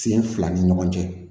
Sen fila ni ɲɔgɔn cɛ